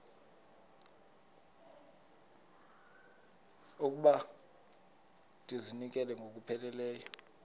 okokuba ndizinikele ngokupheleleyo